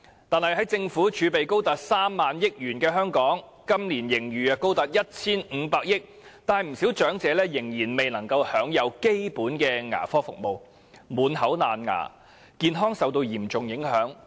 但是，在政府儲備高達 30,000 億元，本年度盈餘更高達 1,500 億元的香港，不少長者卻仍未能享有基本的牙科服務，造成滿口蛀牙，健康受到嚴重影響。